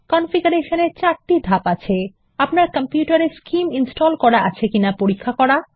configuration চারটি ধাপ আছে আপনার কম্পিউটারে স্কিম ইনস্টল করা রয়েছে কিনা পরীক্ষা করা